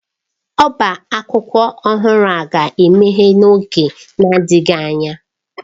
Ọbá akwụkwọ ọhụrụ a ga-emeghe n'oge na-adịghị anya.